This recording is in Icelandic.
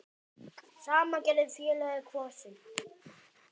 Sama gerði félagið Kvosin.